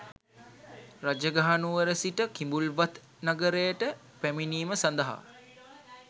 රජගහනුවර සිට කිඹුල්වත් නගරයට පැමිණීම සඳහා